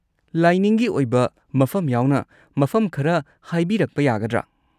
ꯂꯥꯏꯅꯤꯡꯒꯤ ꯑꯣꯏꯕ ꯃꯐꯝ ꯌꯥꯎꯅ ꯃꯐꯝ ꯈꯔ ꯍꯥꯏꯕꯤꯔꯛꯄ ꯌꯥꯒꯗ꯭ꯔꯥ?